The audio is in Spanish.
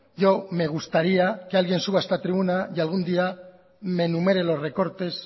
yo me gustaría que alguien suba a esta tribuna y algún día me enumere los recortes